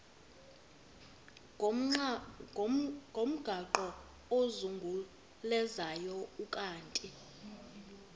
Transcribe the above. ngomgaqo ozungulezayo ukanti